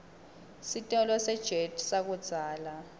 sitolo sejet sakudzala